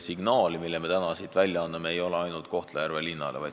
Signaal, mille me täna siit välja saadame, ei ole ainult Kohtla-Järve linnale.